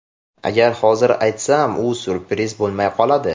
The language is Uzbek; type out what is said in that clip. Agar hozir aytsam, u syurpriz bo‘lmay qoladi.